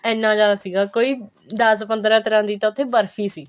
ਇੰਨਾ ਜਿਆਦਾ ਸੀਗਾ ਕੋਈ ਦਸ ਪੰਦਰਾ ਤਰ੍ਹਾਂ ਦੀ ਤਾਂ ਉੱਥੇ ਬਰਫੀ ਸੀਗੀ